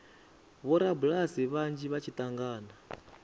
vhorabulasi vhanzhi vha tshi angana